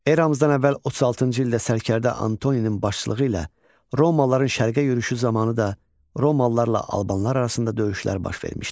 Eramızdan əvvəl 36-cı ildə sərkərdə Antoninin başçılığı ilə romalıların şərqə yürüşü zamanı da romalılarla albanlar arasında döyüşlər baş vermişdi.